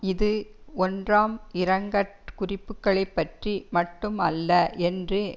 இது ஒன்றாம் இரங்கற் குறிப்புக்களை பற்றி மட்டும் அல்ல என்று